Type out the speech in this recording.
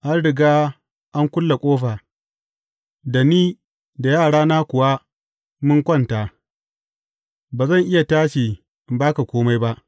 An riga an kulle ƙofa, da ni da yarana kuwa mun kwanta, ba zan iya tashi in ba ka kome ba.’